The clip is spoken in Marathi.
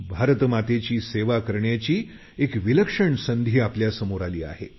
भारत मातेची सेवा करण्याची एक विलक्षण संधी आपल्यासमोर आहे